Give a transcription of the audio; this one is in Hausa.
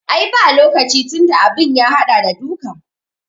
Ai ba lokaci tunda abin ya haɗa da duka